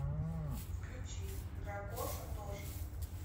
включи дракоша тоша